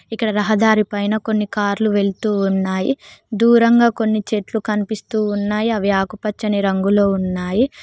ఇక్కడ రహదారి పైన కొన్ని కార్లు వెళ్తూ ఉన్నాయి దూరంగా కొన్ని చెట్లు కనిపిస్తూ ఉన్నాయి అవి ఆకుపచ్చని రంగులో ఉన్నాయి.